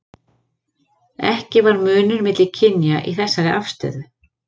ekki var munur milli kynja í þessari afstöðu